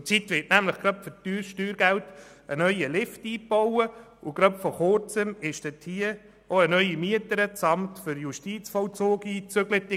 Zurzeit wird nämlich gerade für teures Steuergeld ein neuer Lift eingebaut, und vor Kurzem ist dort auch eine neue Mieterin, das Amt für Justizvollzug, eingezogen.